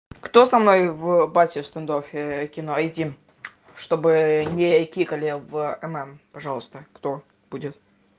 кто со мной в базе в стандоффе кино а эти чтобы не айтикали в нн пожалуйста кто будет